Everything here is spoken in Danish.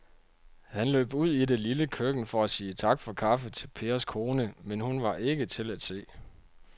Han løb ud i det lille køkken for at sige tak for kaffe til Pers kone, men hun var ikke til at se.